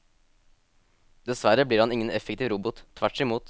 Dessverre blir han ingen effektiv robot, tvert imot.